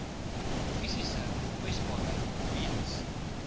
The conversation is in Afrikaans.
fisiese kwesbaarheid weens